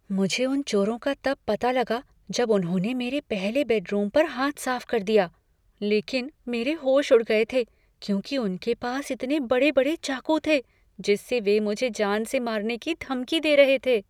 मुझे उन चोरों का तब पता लगा जब उन्होंने मेरे पहले बेडरूम पर हाथ साफ कर दिया, लेकिन मेरे होश उड़ गए थे, क्योंकि उनके पास इतने बड़े बड़े चाकू थे जिससे वे मुझे जान से मारने की धमकी दे रहे थे।